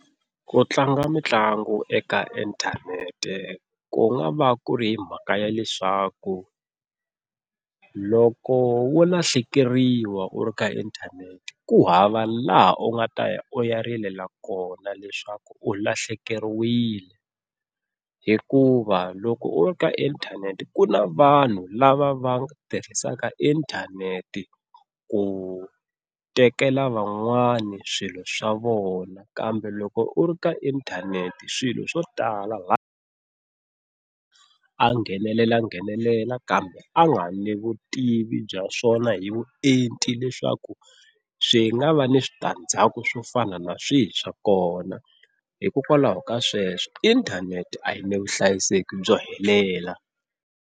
Ku tlanga mitlangu eka inthanete ku nga va ku ri mhaka ya leswaku loko wo lahlekeriwa u ri ka inthanete ku hava laha u nga ta ya u ya rilela kona leswaku u lahlekeriwile, hikuva loko u ri ka inthanete ku na vanhu lava va tirhisaka inthanete ku tekela van'wana swilo swa vona. Kambe loko u ri ka inthanete swilo swo tala a nghenelelanghenelela kambe a nga ri ni vutivi bya swona hi vuenti leswaku swi nga va ni switandzhaku swo fana na swihi swa kona. Hikokwalaho ka sweswo inthanete a yi ni vuhlayiseki byo helela.